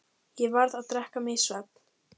Ég varð að drekka mig í svefn.